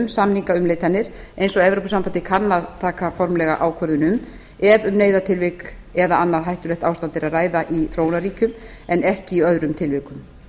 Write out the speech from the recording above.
samningaumleitanir eins og evrópusambandið kann að taka formlega ákvörðun um ef um neyðartilvik eða annað hættulegt ástand er að ræða í þróunarríkjum en ekki í öðrum tilvikum